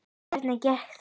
Hvernig gekk þetta?